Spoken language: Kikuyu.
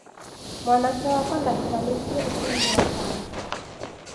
Mwanake wakwa ndahikanĩtie ũcio nĩ mũrata wake.